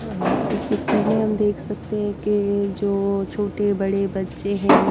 अह्हइस picture में हम देख सकते हैं कि जो छोटे-बड़े बच्चे हैं।